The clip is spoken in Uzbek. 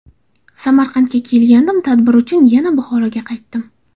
Samarqandga kelgandim, tadbir uchun yana Buxoroga qaytdim.